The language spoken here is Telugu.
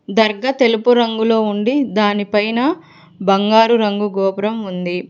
దర్గా తెలుపు రంగులో ఉండి దానిపైన బంగారు రంగు గోపురం ఉంది.